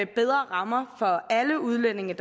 bedre rammer for alle udlændinge